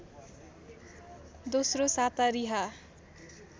दोस्रो साता रिहा